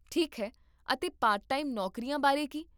ਠੀਕ ਹੈ, ਅਤੇ ਪਾਰਟ ਟਾਈਮ ਨੌਕਰੀਆਂ ਬਾਰੇ ਕੀ?